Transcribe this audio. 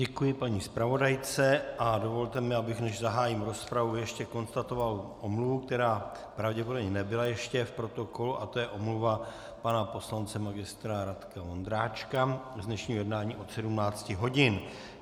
Děkuji paní zpravodajce a dovolte mi, abych než zahájím rozpravu, ještě konstatoval omluvu, která pravděpodobně nebyla ještě v protokolu, a to je omluva pana poslance magistra Radka Vondráčka z dnešního jednání od 17 hodin.